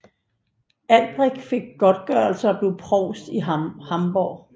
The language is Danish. Albrecht fik godtgørelse og blev provst i Hamborg